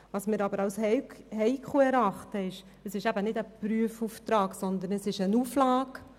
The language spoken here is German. Allerdings erachten wir als heikel, dass es sich nicht um einen Prüfungsauftrag handelt, sondern um eine Auflage.